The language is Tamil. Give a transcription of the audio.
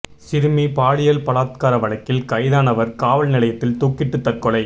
சிறுமி பாலியல் பலாத்கார வழக்கில் கைதானவா் காவல் நிலையத்தில் தூக்கிட்டு தற்கொலை